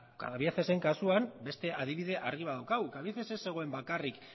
cabieces kasuan beste adibide argi bat daukagu cabieces ez zegoen bakarrik